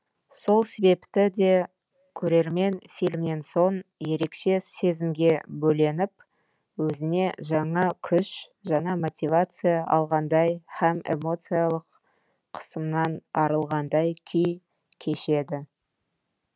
сол себепті де көрермен фильмнен соң ерекше сезімге бөленіп өзіне жаңа күш жаңа мотивация алғандай һәм эмоциялық қысымнан арылғандай күй кешеді